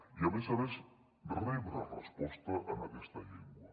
i a més a més poden rebre resposta en aquesta llengua